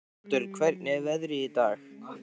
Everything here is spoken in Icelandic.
Arnaldur, hvernig er veðrið í dag?